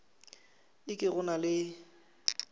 e ke go na le